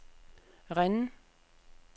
Rennes